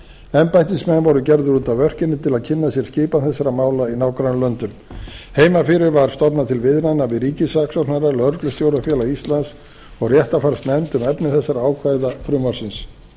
embættismenn voru gerðir út af örkinni til að kynna sér skipan þessara mála í nágrannalöndum heima fyrir var stofnað til viðræðna við ríkissaksóknara lögreglustjórafélag íslands og réttarfarsnefnd um efni þessara ákvæða frumvarpsins